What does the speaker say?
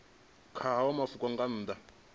kha hayo mafhungo nga nnḓa